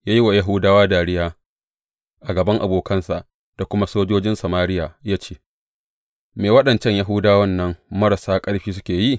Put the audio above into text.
Ya yi wa Yahudawa dariya, a gaban abokansa da kuma sojojin Samariya ya ce, Me waɗancan Yahudawan nan marasa ƙarfi suke yi?